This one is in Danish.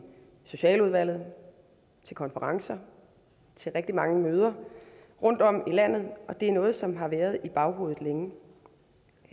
socialudvalget til konferencer til rigtig mange møder rundtom i landet og det er noget som har været i baghovedet længe